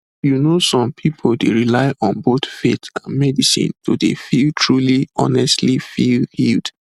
you know some pipu dey rely on both faith and medicine to dey feel truly honestly feel healed